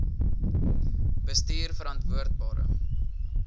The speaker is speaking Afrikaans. bestuurverantwoordbare